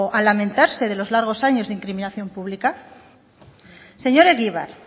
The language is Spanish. lamentarse los largos años de incriminación pública señor egibar